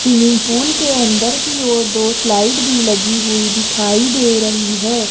Swimming pool के अंदर कि ओर दो स्लाइड भी लगी हुई दिखाई दे रही है।